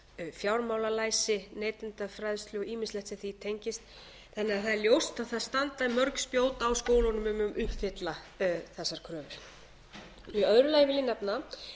fjármálalæsi neytendafræðslu og ýmislegt sem því tengist þannig að það er ljóst að það standa mörg spjót á skólunum um að uppfylla þessar kröfur í öðru lagi vil ég nefna að